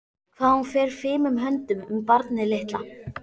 Hvað hún fer fimum höndum um barnið litla.